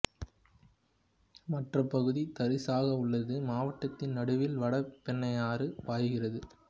மற்ற பகுதி தரிசாக உள்ளது மாவட்டத்தின் நடுவில் வட பெண்ணையாறு பாய்கிறது